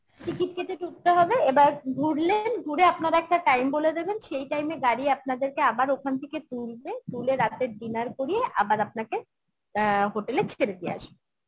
ticket কেটে ঢুকতে হবে এবার ঘুরলেন ঘুরে আপনারা একটা time বলে দেবেন সেই time এ গাড়ি আপনাদেরকে আবার ওখান থেকে তুলবে তুলে রাতের dinner করিয়ে আবার আপনাকে অ্যাঁ hotel এ ছেড়ে দিয়ে আসবো